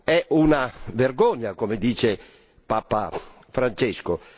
È una vergogna, come dice Papa Francesco!